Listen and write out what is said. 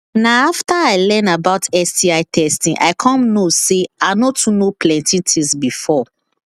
na after i learn about sti testing i come know say i no too know plenty things before